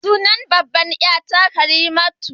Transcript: Sunan babbar ƴa ta Karimatu.